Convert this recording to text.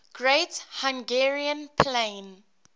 great hungarian plain